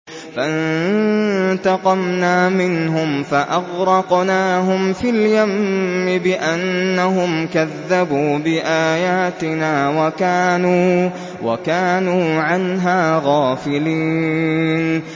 فَانتَقَمْنَا مِنْهُمْ فَأَغْرَقْنَاهُمْ فِي الْيَمِّ بِأَنَّهُمْ كَذَّبُوا بِآيَاتِنَا وَكَانُوا عَنْهَا غَافِلِينَ